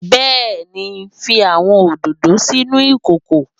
Bẹẹni, fi awọn ododo sinu ikoko